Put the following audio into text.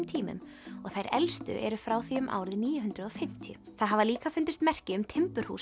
tímum og þær elstu eru frá því um árið níu hundruð og fimmtíu það hafa líka fundist merki um timburhús